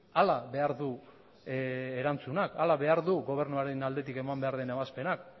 hala behar du erantzunak hala behar du gobernuaren aldetik eman behar den ebazpenak